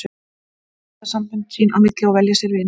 Þeir mynda sambönd sín á milli og velja sér vini.